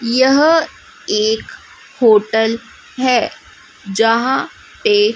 यह एक होटल है जहां पे--